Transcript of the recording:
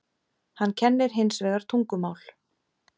Hann kennir hins vegar tungumál.